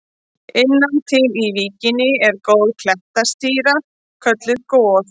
Innan til í víkinni er klettastrýta kölluð Goð.